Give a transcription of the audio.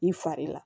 I fari la